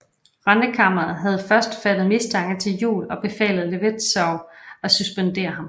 Rentekammeret havde først fattet mistanke til Juel og befalet Levetzau at suspendere ham